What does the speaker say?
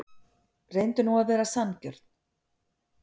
Reyndu nú að vera sanngjörn.